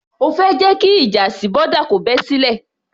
O fẹ́ jẹ́ kí ìjà sí boda kò bẹ́ sílẹ̀?